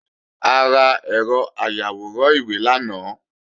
A ra ẹ̀rọ ayàwòrán ìwé lánàá